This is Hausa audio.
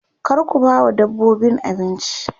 kar ku bawa dabbobin abinci